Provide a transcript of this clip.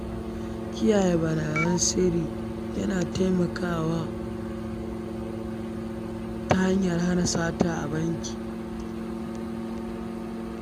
Kiyaye bayan san sirri, yana taimakawa ta hanyan hana sata a banki.